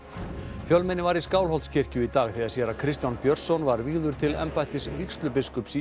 fjölmenni var í Skálholtskirkju í dag þegar séra Kristján Björnsson var vígður til embættis vígslubiskups í